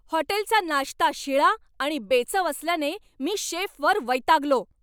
हॉटेलचा नाश्ता शिळा आणि बेचव असल्याने मी शेफवर वैतागलो.